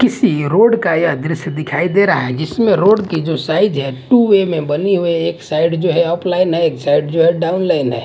किसी रोड का ये द्श्य दे रहा है जिसमे रोड की जो साइज़ है टू वे में बनी हुई है एक साइड जो है ऑफ़लाइन है एक साइड जो है डाउनलाइन है।